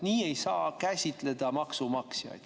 Nii ei saa kohelda maksumaksjaid.